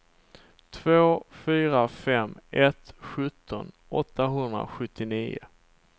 två fyra fem ett sjutton åttahundrasjuttionio